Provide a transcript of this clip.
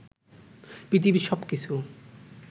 পৃথিবীর সবকিছু